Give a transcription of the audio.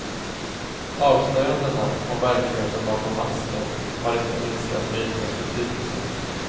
Avslöjandena om verkligheten bakom masken har inte minskat mytens betydelse.